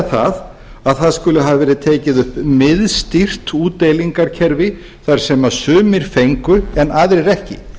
það að það skuli hafa verið tekið upp miðstýrt útdeilingarkerfi þar sem sumir fengu en aðrir ekki